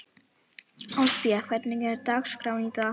Alfífa, hvernig er dagskráin í dag?